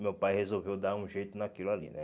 Meu pai resolveu dar um jeito naquilo ali, né?